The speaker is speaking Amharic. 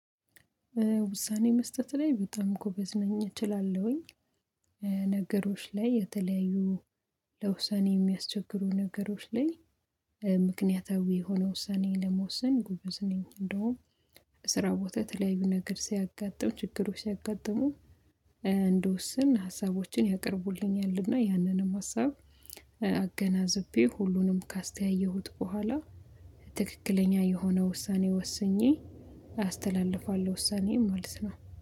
ውሳኔ መስጠት ላይ በጣም ጎበዝ ነኝ እችላለሁኝ። ነገሮች ላይ የተለያዩ ለውሳኔ የሚያስቸግሩ ነገሮች ላይ፤ ምክንያታዊ የሆነ ውሳኔ ለመወሰን ጎበዝ ነኝ። እንደውም ስራ ቦታ የተለያዩ ነገር ሲያጋጥም ችግሩ ሲያጋጥሙ፤ እንድወሰን ሀሳቦችን ያቀርቡልኛል። እና ያንንም ሀሳብ አገናዝቤ ሁሉንም ካስተያየሁት በኋላ፤ ትክክለኛ የሆነ ውሳኔ ወስኜ አስተላልፋለሁ ውሳኔዬን ማለት ነው።